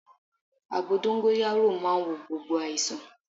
Àgbo dóngóyárò màa ń wo gbogbo àìsàn